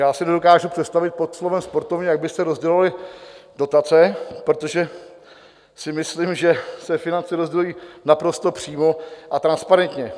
Já si nedokážu představit pod slovem "sportovně", jak byste rozdělovali dotace, protože si myslím, že se finance rozdělují naprosto přímo a transparentně.